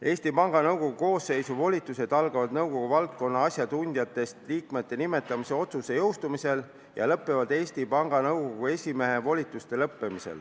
Eesti Panga Nõukogu koosseisu volitused algavad siis, kui jõustub nõukogu valdkonna asjatundjatest liikmete nimetamise otsus, ja lõpevad siis, kui lõpevad Eesti Panga Nõukogu esimehe volitused.